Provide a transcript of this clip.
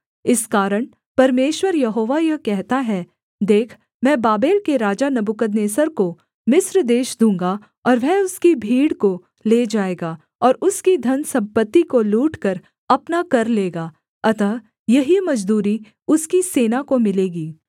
इस कारण परमेश्वर यहोवा यह कहता है देख मैं बाबेल के राजा नबूकदनेस्सर को मिस्र देश दूँगा और वह उसकी भीड़ को ले जाएगा और उसकी धनसम्पत्ति को लूटकर अपना कर लेगा अतः यही मजदूरी उसकी सेना को मिलेगी